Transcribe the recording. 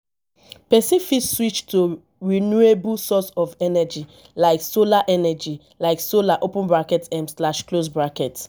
person fit switch to renewable source of energy like solar energy like solar open bracket um slash close bracket